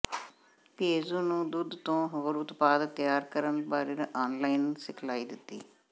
PAU ਨੇ ਦੁੱਧ ਤੋਂ ਹੋਰ ਉਤਪਾਦ ਤਿਆਰ ਕਰਨ ਬਾਰੇ ਆਨਲਾਈਨ ਸਿਖਲਾਈ ਦਿੱਤੀ